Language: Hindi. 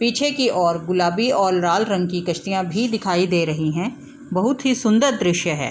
पीछे की ओर गुलाबी और लाल रंग की कश्तियां भी दिखाई दे रही हैं बहुत ही सुंदर दृश्य है।